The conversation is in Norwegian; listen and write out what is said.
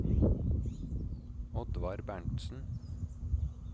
Oddvar Berntzen